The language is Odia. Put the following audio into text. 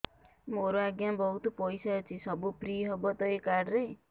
ମୋର ଆଜ୍ଞା ବହୁତ ପଇସା ଅଛି ସବୁ ଫ୍ରି ହବ ତ ଏ କାର୍ଡ ରେ